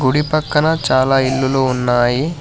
కుడి పక్కన చాలా ఇల్లులు ఉన్నాయి.